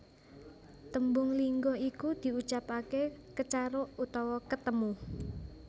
Tembung lingga iku diucapake Kecaruk utawa ketemu